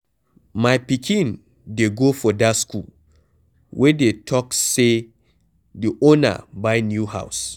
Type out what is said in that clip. My pikin dey go for dat school where dey talks say the owner buy new house